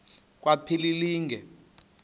kwaphilingile